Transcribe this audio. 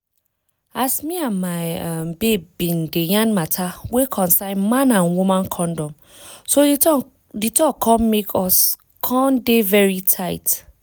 as me and my um babe bin dey yarn matter wey concern man and woman condom so di talk come make us come dey very tight